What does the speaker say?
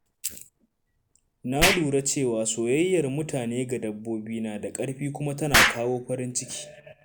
Na lura cewa soyayyar mutane ga dabbobi na da ƙarfi kuma tana kawo farin ciki.